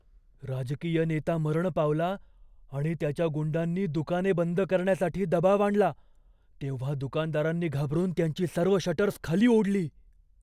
राजकीय नेता मरण पावला आणि त्याच्या गुंडांनी दुकाने बंद करण्यासाठी दबाव आणला तेव्हा दुकानदारांनी घाबरून त्यांची सर्व शटर्स खाली ओढली.